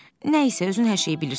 Nəysə, özün hər şeyi bilirsən.